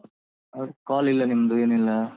ಹೌದ್ call ಇಲ್ಲ ನಿಮ್ದು ಏನಿಲ್ಲ.